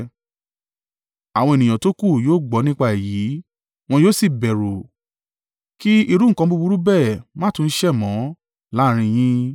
Àwọn ènìyàn tókù yóò gbọ́ nípa èyí, wọn yóò sì bẹ̀rù, kí irú nǹkan búburú bẹ́ẹ̀ máa tún sẹ̀ mọ́ láàrín yín.